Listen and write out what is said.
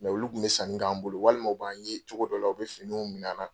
Mɛ olu kun bɛ sanni k'an bolo walima u b'an ye cogo dɔ la u bɛ finiw minɛ an na.